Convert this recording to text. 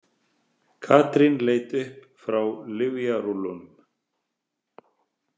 Katrín leit upp frá lyfjarúllunum.